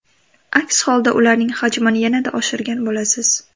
Aks holda ularning hajmini yanada oshirgan bo‘lasiz.